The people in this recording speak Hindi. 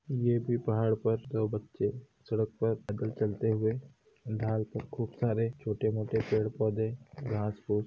ये भी पहाड़ पर दो बच्चे सड़क पर पैदल चलते हुए ढाल पर खूब सारे छोटे मोटे पेड़ पौधे घास फूस।